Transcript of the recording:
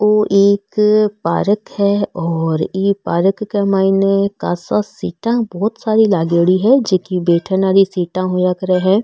वो एक पार्क है और इ पार्क के माईने खासा सीटा बहुत सारी लागेड़ी है जेकी बैठन आली सीटा होया करे है।